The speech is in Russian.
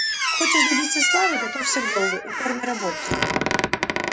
хочешь добиться славы готовься к долгой упорной работе